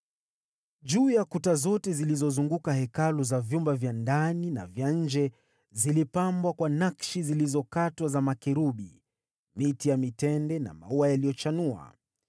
Juu ya kuta zote zilizozunguka Hekalu, za vyumba vya ndani na vya nje, zilipambwa kwa nakshi zilizokatwa za makerubi, miti ya mitende na maua yaliyochanua.